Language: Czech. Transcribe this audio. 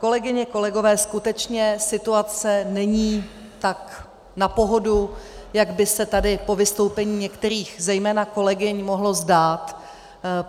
Kolegyně, kolegové, skutečně situace není tak na pohodu, jak by se tady po vystoupeních některých zejména kolegyň mohlo zdát.